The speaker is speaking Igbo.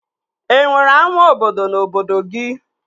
E nwere ama obodo na obodo gị?